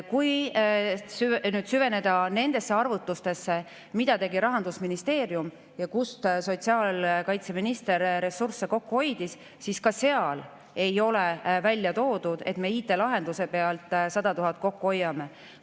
Kui süveneda nendesse arvutustesse, mida tegi Rahandusministeerium selle kohta, kust sotsiaalkaitseminister ressursse kokku hoidis, siis ka seal ei ole välja toodud, et me IT‑lahenduse pealt 100 000 kokku hoiame.